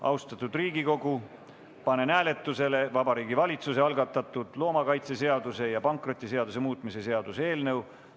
Austatud Riigikogu, panen hääletusele Vabariigi Valitsuse algatatud loomakaitseseaduse ja pankrotiseaduse muutmise seaduse eelnõu.